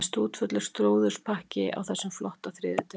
Það er stútfullur slúðurpakki á þessum flotta þriðjudegi.